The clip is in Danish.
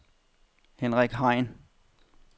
Henrik Hein